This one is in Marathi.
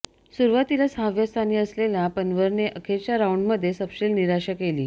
सुरूवातीला सहाव्या स्थानी असलेल्या पन्वरने अखेरच्या राउंडमध्ये सपशेल निराशा केली